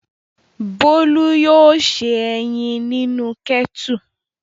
Bólú yóò se ẹyin nínú kẹ́tù.